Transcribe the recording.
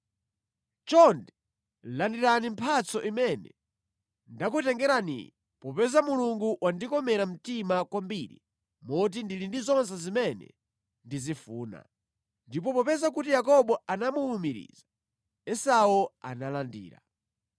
Chonde, landirani mphatso imene ndakutengeraniyi, popeza Mulungu wandikomera mtima kwambiri moti ndili ndi zonse zimene ndizifuna.” Ndipo popeza kuti Yakobo anamuwumiriza, Esau analandira.